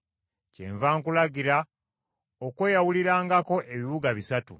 Kyenva nkulagira okweyawulirangako ebibuga bisatu.